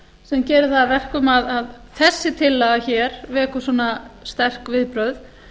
sem gerir það að verkum að þessi tillaga hér vekur svona sterk viðbrögð